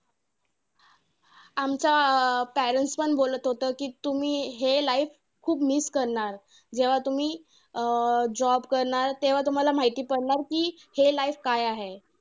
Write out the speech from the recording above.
आमचं अं parents पण बोलत होतं कि, तुम्ही हे life खूप miss करणार. जेव्हा तुम्ही अं job करणार, तेव्हा तुम्हांला माहिती पडणार कि हे life काय आहे.